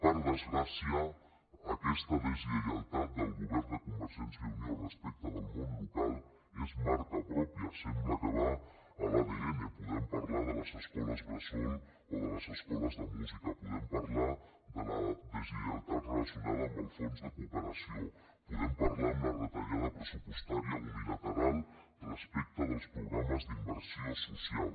per desgràcia aquesta deslleialtat del govern de convergència i unió respecte al món local és marca pròpia sembla que va a l’adn podem parlar de les escoles bressol o de les escoles de música podem parlar de la deslleialtat relacionada amb el fons de cooperació podem parlar de la retallada pressupostària unilateral respecte als programes d’inversió social